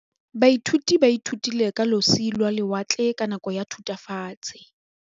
Baithuti ba ithutile ka losi lwa lewatle ka nako ya Thutafatshe.